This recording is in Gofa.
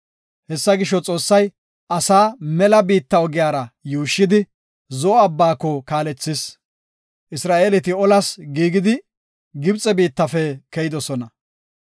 Hessa gisho, Xoossay asaa mela biitta ogiyara yuushshidi, Zo7o Abbaako kaalethis. Isra7eeleti olas giigidi Gibxe biittafe keyidosona.